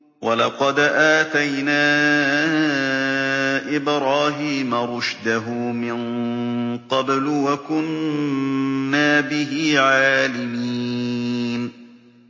۞ وَلَقَدْ آتَيْنَا إِبْرَاهِيمَ رُشْدَهُ مِن قَبْلُ وَكُنَّا بِهِ عَالِمِينَ